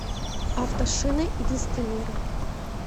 автошины и диски мира